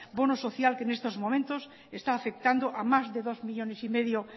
bono social que en estos momentos está afectando a más de dos coma cinco millónes